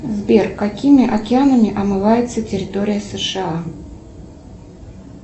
сбер какими океанами омывается территория сша